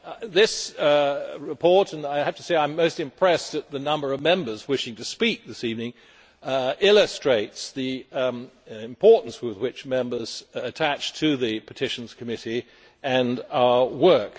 This report and I have to say I am most impressed at the number of Members wishing to speak this evening illustrates the importance which Members attach to the Petitions Committee and to our work.